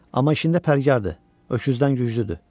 amma işində pərgarıdır, öküzdən güclüdür.